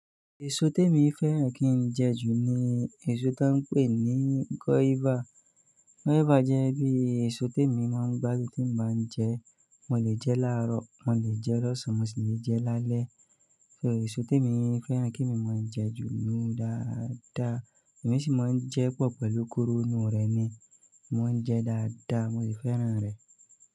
Èso tí èmi fẹ́ràn kí n jẹ jù ni èso tan ń pè ní guava. Guava jẹ́ bí èso tí èmi máa ń gbádun tí n bá ń jẹ ẹ. Mo lè jẹ láàárọ̀, mo lè jẹ lọ́sàn-án, mo sì lè jẹ lálẹ́. So èso tí èmi fẹ́ràn kí emi mo máa jẹ jù níyun dáadáa. Èmi sì máa ń jẹ pọ̀ pẹ̀lú kóró inú rẹ̀ ni. Mò ń jẹ dáadáa, mo sì fẹ́ràn rẹ̀.